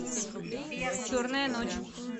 черная ночь